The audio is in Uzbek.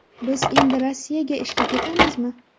Biz endi Rossiyaga ishga ketamizmi?